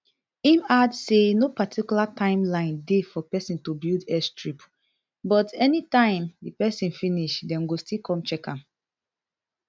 im add say no particular time line dey for pesin to build airstrip but anytime di pesin finish dem go still come check am